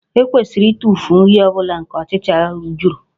E kwesịrị ịtụfu nri ọ bụla nke ọchịcha juru